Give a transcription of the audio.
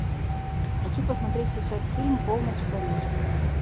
хочу посмотреть сейчас фильм полночь в париже